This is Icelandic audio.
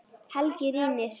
Helgi rýnir.